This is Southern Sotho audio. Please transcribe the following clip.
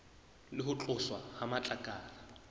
le ho tloswa ha matlakala